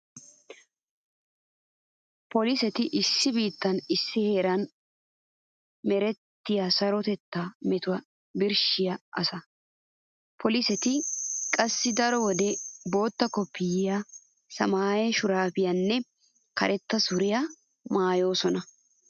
Poliseti issi biittan issi heeran merettiya sarotettaa metuwa birshshiya asa. Poliseti qassi daro wode bootta koppiyyiya, samaaye shuraabiyaaranne karetta suriyaara maayoosona.